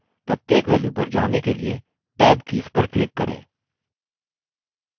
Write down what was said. प्रत्येक value पर जाने के लिए tab कीज पर click करें